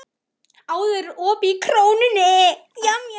Auður, er opið í Krónunni?